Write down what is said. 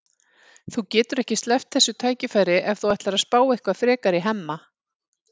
Þú getur ekki sleppt þessu tækifæri ef þú ætlar að spá eitthvað frekar í Hemma.